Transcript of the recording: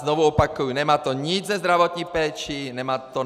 Znovu opakuji, nemá to nic se zdravotní péčí.